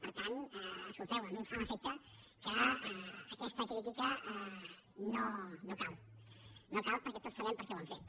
per tant escolteu a mi em fa l’efecte que aquesta crítica no cal no cal perquè tots sabem per què ho han fet